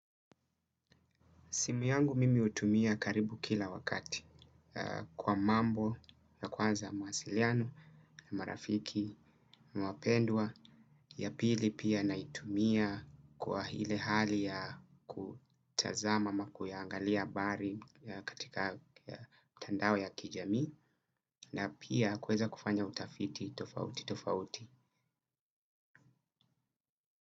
Simu yangu mimi hutumia karibu kila wakati kwa mambo ya kwanza mawasiliano, marafiki, wapendwa ya pili pia naitumia kwa hile hali ya kutazama ama kuiangalia habari katika mitandao ya kijamii na pia kuweza kufanya utafiti tofauti tofauti.